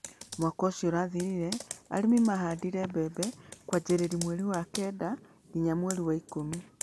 Mwaka ũcio ũrathĩrire arĩmi mahandire mbembe kwanjĩrĩria mweri wa Kenda nginya mweri wa ikũmi.